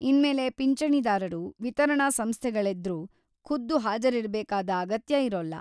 ಇನ್ಮೇಲೆ ಪಿಂಚಣಿದಾರರು ವಿತರಣಾ ಸಂಸ್ಥೆಗಳೆದ್ರು ಖುದ್ದು ಹಾಜರಿರ್ಬೇಕಾದ ಅಗತ್ಯ ಇರೋಲ್ಲ.